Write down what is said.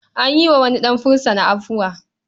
An yi wa wani ɗan fursuna afuwa.